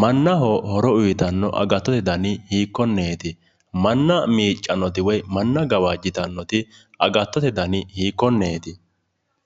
mannaho horo uuyitnno agattote dani hiikkonneeti? manna miicannoti woyi gwajjitannoti agattote dani hiikkonneeti?